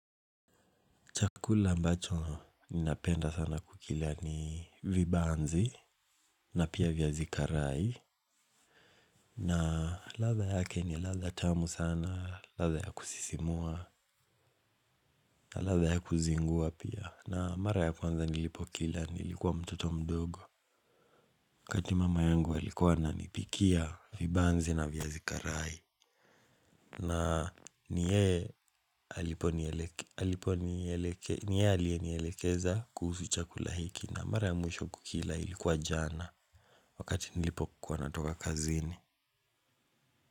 Chakula ambacho ninapenda sana kukila ni vibanzi na pia viazi karai. Na ladha yake ni ladha tamu sana, ladha ya kusisimua, ladha ya kuzingua pia. Na mara ya kwanza nilipo kila, nilikuwa mtoto mdogo. Wakati mama yangu alikuwa ananipikia, vibanzi na viazi karai. Na ni yeye alienielekeza kuhusu chakula hiki na mara ya mwisho kukila ilikuwa jana. Wakati nilipokua natoka kazini.